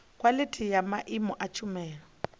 khwalithi ya maimo a tshumelo